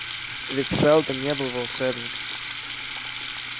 ведь сэлдон не был волшебником